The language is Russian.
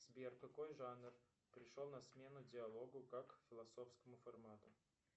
сбер какой жанр пришел на смену диалогу как философскому формату